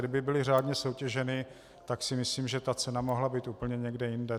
Kdyby byly řádně soutěženy, tak si myslím, že ta cena mohla být úplně někde jinde.